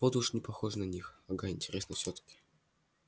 вот уж не похоже на них ага интересно всё-таки